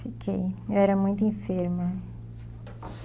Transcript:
Fiquei, eu era muito enferma.